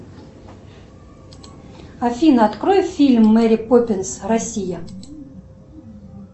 афина открой фильм мэри поппинс россия